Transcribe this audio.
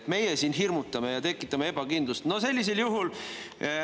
Kas meie siin hirmutame ja tekitame ebakindlust?